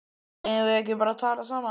Eigum við ekki eftir að tala saman?